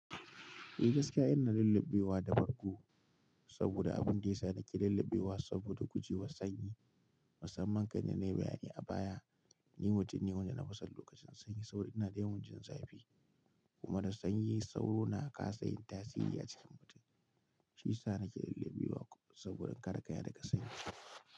Eh gaskiya ina lullubewa da bargo saboda abin da ya sa nake lullubewa saboda guje wa sanyi. Musamman kai da na yi bayani a baya. Ni mutum ne wanda na fi san lokacin sanyi. Saboda ina da yawan jin zafi kuma da sanyi sauro na kasa yin tasiri a cikin mutum. Shi ya sa nake lullubewa saboda kare kaina daga sanyi.